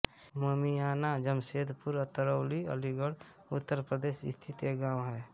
ममिआना उम्मेदपुर अतरौली अलीगढ़ उत्तर प्रदेश स्थित एक गाँव है